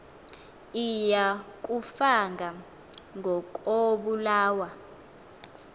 iya kufa ngokobulawa